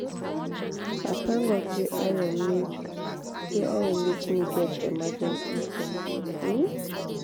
i thank god say ayo make say ayo make me get emergency fund um